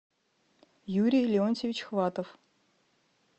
юрий леонтьевич хватов